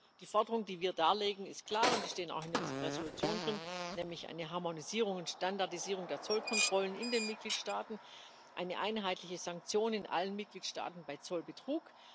Deswegen Die Forderungen, die wir darlegen, sind klar, und die stehen auch in unserer Entschließung drin, nämlich eine Harmonisierung und Standardisierung der Zollkontrollen in den Mitgliedstaaten, einheitliche Sanktionen in allen Mitgliedstaaten bei Zollbetrug.